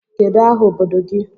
Kedụ aha obodo gị?